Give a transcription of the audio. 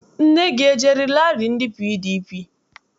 Nne gị ejere rali ndị PDP?